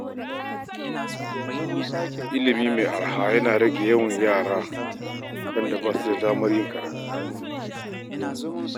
Ilimi mai araha yana rage rashin yawan yara da basa samun damar zuwa makaranta.